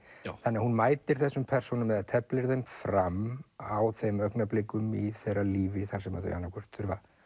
þannig að hún mætir þessum persónum eða teflir þeim fram á þeim augnablikum í þeirra lífi þar sem þau annað hvort þurfa